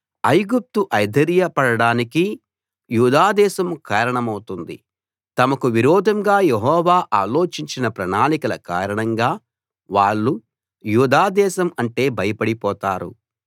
ఐగుప్తు అధైర్య పడడానికి యూదాదేశం కారణమవుతుంది తమకు విరోధంగా యెహోవా ఆలోచించిన ప్రణాళికల కారణంగా వాళ్ళు యూదా దేశం అంటే భయపడి పోతారు